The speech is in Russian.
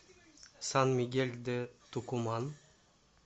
сан мигель де тукуман